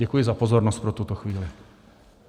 Děkuji za pozornost pro tuto chvíli.